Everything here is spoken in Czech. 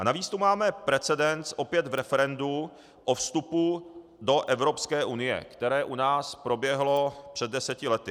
A navíc tu máme precedens, opět v referendu, o vstupu do Evropské unie, které u nás proběhlo před deseti lety.